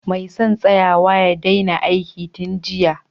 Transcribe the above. Mai son tsayawa ya daina aiki tun jiya